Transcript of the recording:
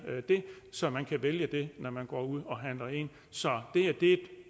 det så man kan vælge det når man går ud og handler så det er et